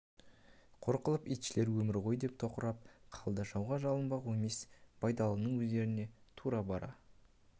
қор қылып итшілеген өмір ғой деп тоқырап қалды жауға жалынбақ оңай емес байдалының өздеріне тура бара